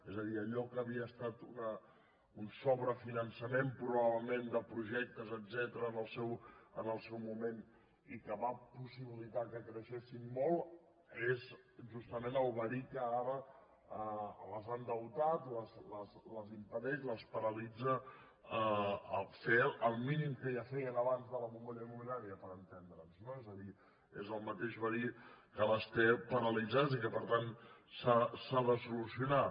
és a dir allò que havia estat un sobrefinançament probablement de projectes etcètera en el seu moment i que va possibilitar que creixessin molt és justament el verí que ara les ha endeutat les impedeix les paralitza a fer el mínim que ja feien abans de la bombolla immobiliària per entendre’ns no és a dir és el mateix verí que les té paralitzades i per tant s’ha de solucionar